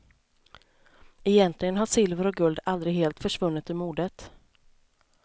Egentligen har silver och guld aldrig helt försvunnit ur modet.